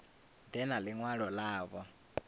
ḓe na ḽi ṅwalo ḽavho